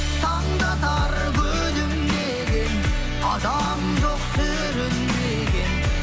таң да атар күлімдеген адам жоқ сүрінбеген